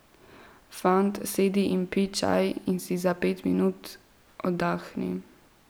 Fant, sedi in pij čaj in si za pet minut oddahni!